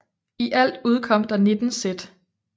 I alt udkom der 19 sæt